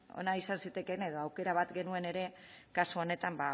ona izan zitekeena edo aukera bat genuen ere kasu honetan